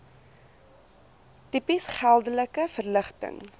tipes geldelike verligting